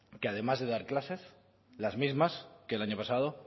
que además de dar clases las mismas que el año pasado